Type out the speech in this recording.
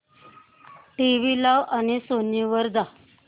TV लाव आणि Sony वर जा